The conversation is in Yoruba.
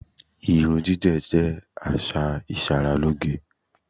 Irun gígè̩ jé̩ às̩à ìs̩aralóge.